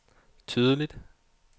tydeligt